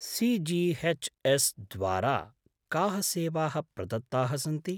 CGHS. द्वारा काः सेवाः प्रदत्ताः सन्ति?